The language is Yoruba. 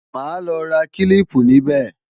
Máa lọ ra kílíìpù níbẹ̀